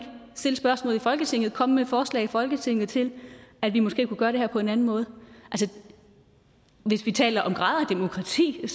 stille spørgsmål i folketinget ikke komme med et forslag i folketinget til at vi måske kunne gøre det her på en anden måde hvis vi taler om grader af demokrati er